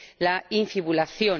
la infibulación.